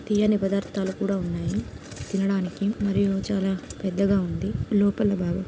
తియ్యని పదార్ధాలు కూడా ఉన్నాయి తినడానికి మరియు చాలా పెద్దగా ఉంది లోపల బాగా--